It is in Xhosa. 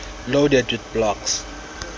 loaded with blocks